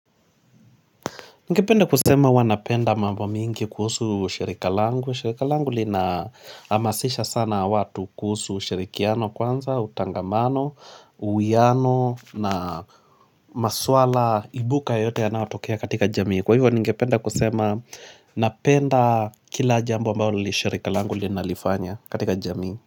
Ningependa kusema huwa napenda mambo mingi kuhusu shirika langu. Shirika langu linahamasisha sana watu kuhusu shirikiano kwanza, utangamano, uwiano na maswala ibuka yote yanaotokea katika jamii. Kwa hivyo ningependa kusema napenda kila jambo ambao hili shirika langu linalifanya katika jamii.